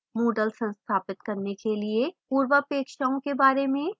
moodle संस्थापित करने के लिए पूर्वापेक्षाओं के बारे में